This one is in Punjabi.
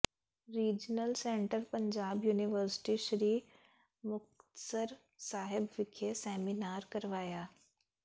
regional centre Punjab university Sri Muktsar Sahib ਵਿਖੇ ਸੈਮੀਨਾਰ ਕਰਵਾਇਆ